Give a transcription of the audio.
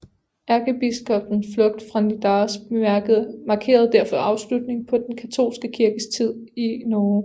Ærkebiskoppens flugt fra Nidaros markerede derfor afslutningen på den katolske kirkes tid i Norge